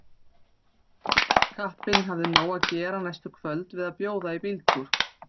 Kappinn hafði nóg að gera næstu kvöld við að bjóða í bíltúr.